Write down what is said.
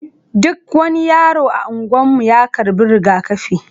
Duk wani yaro a anguwan mu ya karɓi rigakafi.